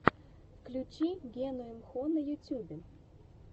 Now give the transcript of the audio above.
включи гену имхо на ютюбе